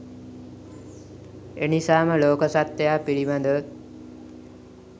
එනිසාම ලෝක සත්ත්වයා පිළිබඳව